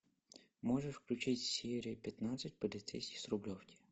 можешь включить серию пятнадцать полицейский с рублевки